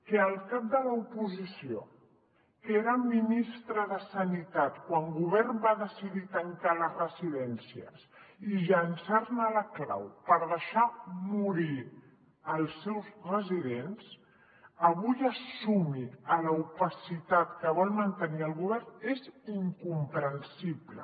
que el cap de l’oposició que era ministre de sanitat quan el govern va decidir tancar les residències i llençar ne la clau per deixar morir els seus residents avui es sumi a l’opacitat que vol mantenir el govern és incomprensible